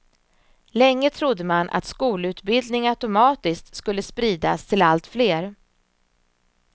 Länge trodde man att skolutbildning automatiskt skulle spridas till allt fler.